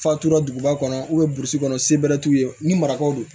Fatura duguba kɔnɔ burusi kɔnɔ se bɛrɛ t'u ye ni marakaw don